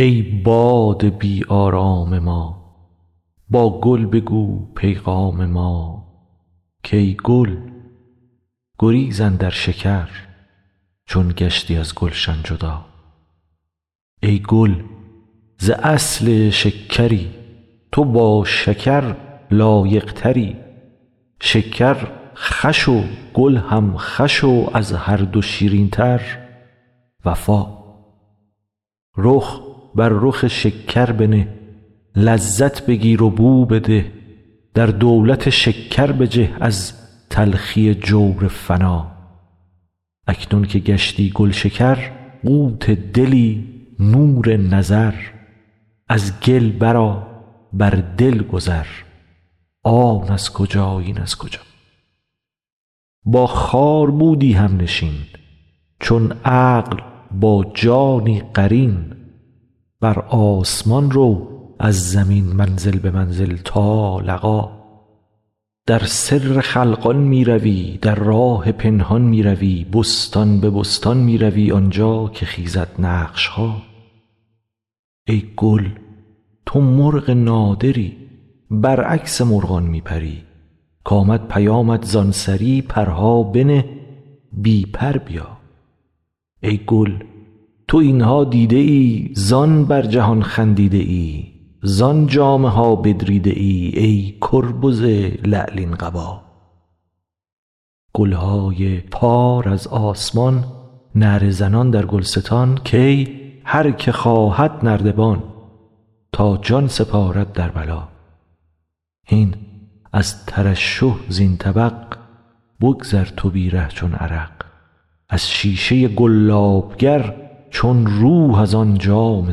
ای باد بی آرام ما با گل بگو پیغام ما کای گل گریز اندر شکر چون گشتی از گلشن جدا ای گل ز اصل شکری تو با شکر لایق تری شکر خوش و گل هم خوش و از هر دو شیرین تر وفا رخ بر رخ شکر بنه لذت بگیر و بو بده در دولت شکر بجه از تلخی جور فنا اکنون که گشتی گلشکر قوت دلی نور نظر از گل برآ بر دل گذر آن از کجا این از کجا با خار بودی همنشین چون عقل با جانی قرین بر آسمان رو از زمین منزل به منزل تا لقا در سر خلقان می روی در راه پنهان می روی بستان به بستان می روی آن جا که خیزد نقش ها ای گل تو مرغ نادری برعکس مرغان می پری کامد پیامت زان سری پرها بنه بی پر بیا ای گل تو این ها دیده ای زان بر جهان خندیده ای زان جامه ها بدریده ای ای کربز لعلین قبا گل های پار از آسمان نعره زنان در گلستان کای هر که خواهد نردبان تا جان سپارد در بلا هین از ترشح زین طبق بگذر تو بی ره چون عرق از شیشه گلاب گر چون روح از آن جام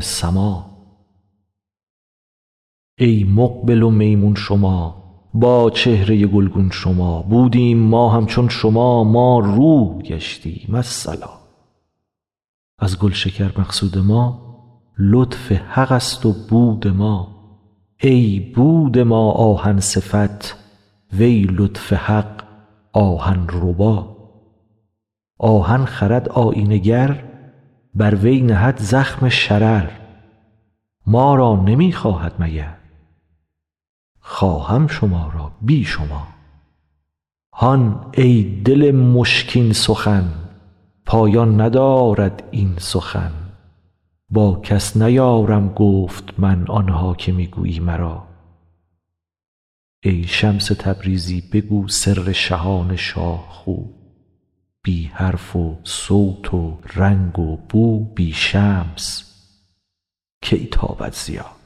سما ای مقبل و میمون شما با چهره گلگون شما بودیم ما همچون شما ما روح گشتیم الصلا از گلشکر مقصود ما لطف حق ست و بود ما ای بود ما آهن صفت وی لطف حق آهن ربا آهن خرد آیینه گر بر وی نهد زخم شرر ما را نمی خواهد مگر خواهم شما را بی شما هان ای دل مشکین سخن پایان ندارد این سخن با کس نیارم گفت من آن ها که می گویی مرا ای شمس تبریزی بگو سر شهان شاه خو بی حرف و صوت و رنگ و بو بی شمس کی تابد ضیا